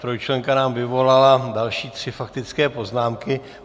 Trojčlenka nám vyvolala další tři faktické poznámky.